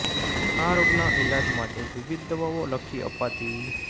આ રોગના ઈલાજ માટે વિવિધ દવાઓ લખી અપાતી